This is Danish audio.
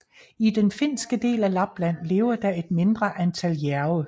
I den finske del af Lapland lever der et mindre antal jærve